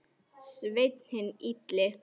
Sveinn hinn illi.